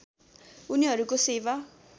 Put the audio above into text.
उनीहरूको सेवा